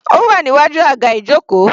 Ó wà níwájú aga ijoko.